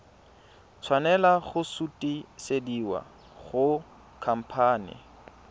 tshwanela go sutisediwa go khamphane